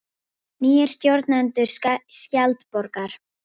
Nýir stjórnendur Skjaldborgar